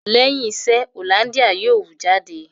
Lẹ́yìn iṣẹ́, Hollandia yóò wu Jídé